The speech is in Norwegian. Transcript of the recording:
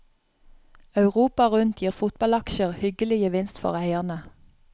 Europa rundt gir fotballaksjer hyggelig gevinst for eierne.